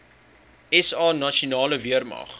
sa nasionale weermag